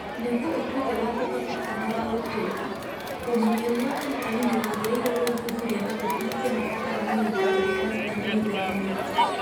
Nĩguo ũtuĩke wa kũhoteka na wa gũtũũra, ũmenyeru wa arutani nĩ wagĩrĩirwo gũthuthuria na kũhingia mabataro na mĩikarĩre ya arutani mĩthemba mĩingĩ.